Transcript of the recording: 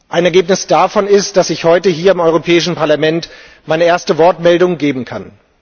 Ein Ergebnis davon ist, dass ich heute hier im Europäischen Parlament meine erste Wortmeldung geben kann.